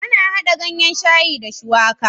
Ana hada ganyan shayi da shuwaka